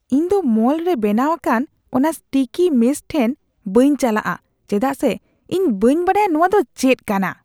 ᱤᱧᱫᱚ ᱢᱚᱞ ᱨᱮ ᱵᱮᱱᱟᱣ ᱟᱠᱟᱱ ᱚᱱᱟ ᱥᱴᱤᱠᱤ ᱢᱮᱥ ᱴᱷᱮᱱ ᱵᱟᱹᱧ ᱪᱟᱞᱟᱜᱼᱟ ᱪᱮᱫᱟᱜ ᱥᱮ ᱤᱧ ᱵᱟᱹᱧ ᱵᱟᱰᱟᱭᱟ ᱱᱚᱶᱟᱫᱚ ᱪᱮᱫ ᱠᱟᱱᱟ ᱾